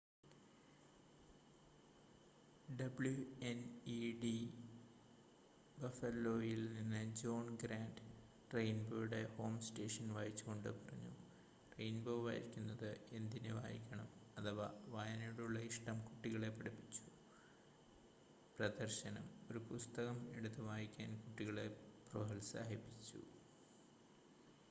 "WNED ബഫലോയിൽ നിന്ന് John Grant റെയിൻബോയുടെ ഹോം സ്റ്റേഷൻ വായിച്ചുക്കൊണ്ട് പറഞ്ഞു "റെയിൻബോ വായിക്കുന്നത് എന്തിന് വായിക്കണം... അഥവാ വായനയോടുള്ള ഇഷ്ടം കുട്ടികളെ പഠിപ്പിച്ചു - [പ്രദർശനം] ഒരു പുസ്തകം എടുത്ത് വായിക്കാൻ കുട്ടികളെ പ്രോത്സാഹിപ്പിച്ചു.""